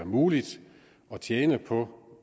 muligt at tjene på